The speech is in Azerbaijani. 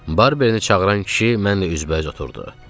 Barbeini çağıran kişi mən də üzbəüz oturdu.